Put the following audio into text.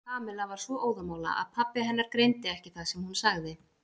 Kamilla var svo óðamála að pabbi hennar greindi ekki það sem hún sagði.